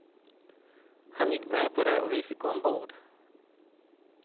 Han gick med på det och vi fick gå ombord.